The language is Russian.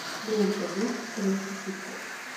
лента биф русский хип хоп